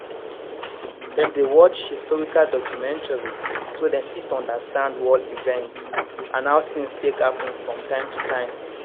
dem dey watch historical documentary so dem fit understand world events and how things take happen from time to time